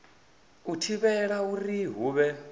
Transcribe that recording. u thivhela uri hu vhe